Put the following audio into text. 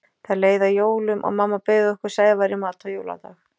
Það leið að jólum og mamma bauð okkur Sævari í mat á jóladag.